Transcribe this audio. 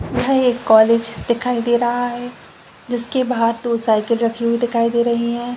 एक कॉलेज दिखाई दे रहा है जिसके बाहर दो साइकिल रखी हुई दिखाई दे रही हैं।